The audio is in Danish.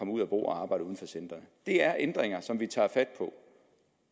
ud at bo og arbejde uden for centrene det er ændringer som vi tager fat på